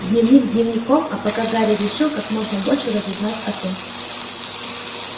дневник дневником а пока гарри решил как можно больше разузнать о т